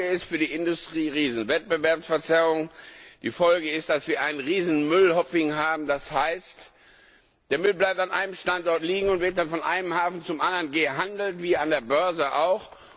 Die Folge ist für die Industrieriesen eine Wettbewerbsverzerrung, die Folge ist, dass wir ein riesiges Müll Hopping haben, das heißt, der Müll bleibt an einem Standort liegen und wird dann von einem Hafen zum anderen gehandelt, wie an der Börse auch.